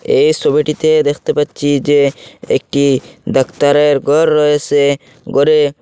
এই সোবিটিতে দেখতে পাচ্ছি যে একটি ডাক্তারের গর রয়েসে গরে--